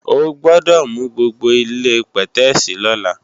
O gbọ́dọ̀ nu gbogbo ilé-pẹ̀tẹ́èsì lọ́la!